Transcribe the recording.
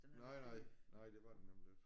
Nej nej nej det var den nemlig ikke